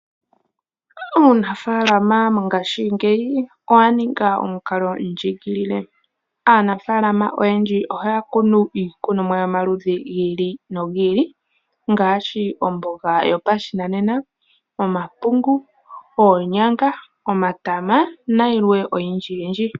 Uunafaalama mongashingeyi owaninga omukalo ndjigilile. Aanafaalama oyendji ohaya kunu iilikolomwa yomaludhi gi ili nogi ili ngaashi omboga yopashinanena, omapungu, oonyanga, omatama nayilwe oyindji.